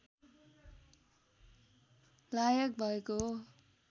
लायक भएको हो